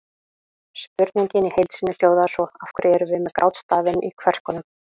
Spurningin í heild sinni hljóðaði svo: Af hverju erum við með grátstafinn í kverkunum?